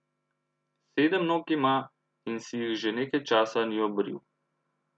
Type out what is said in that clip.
Sedem nog ima in si jih že nekaj časa ni obril.